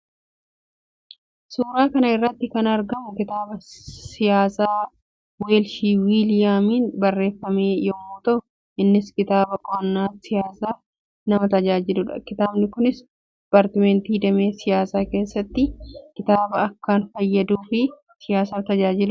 Suuraa kana irratti kan argamu kitaaba siyaasaa Weelshii Wiiliyaamiin barreeffame yammuu ta'u; innis kitaaba qo'annaa siyaasaaf nama tajaajiluudha. Kitaabni kunis dipaartmentii damee siyaasaa keessatti kitaaba akkaan fayyaduu fi siyaasaaf tajaajiluudha.